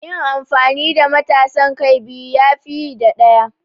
Yin amfani da matasan kai biyu ya fi yi da ɗaya.